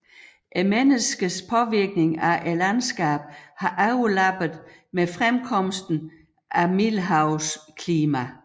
Menneskets påvirkning af landskabet har overlappet med fremkomsten af middelhavsklimaet